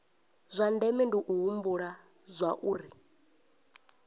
zwa ndeme u humbula zwauri